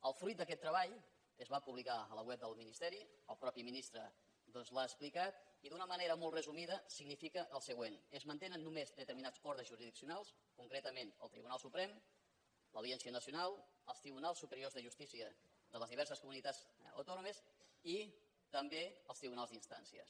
el fruit d’aquest treball que es va publicar a la web del ministeri el mateix ministre l’ha explicat i d’una manera molt resumida significa el següent es mantenen només determinats ordres jurisdiccionals concretament el tribunal suprem l’audiència nacional els tribunals superiors de justícia de les diverses comunitats autònomes i també els tribunals d’instàncies